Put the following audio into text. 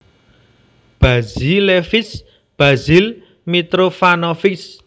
Bazilevich Basil Mitrofanovich